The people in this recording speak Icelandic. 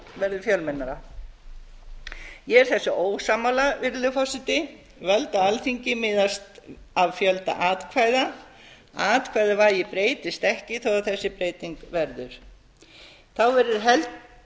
svokallað verður fjömennara ég er þessu ósammála virðulegur forseti völd á alþingi miðast af fjölda atkvæða atkvæðavægi breytist ekki þó að þessi breyting verði þá verður heldur